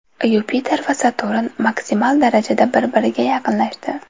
Yupiter va Saturn maksimal darajada bir-biriga yaqinlashdi .